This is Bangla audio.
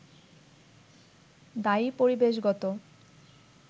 দায়ী পরিবেশগত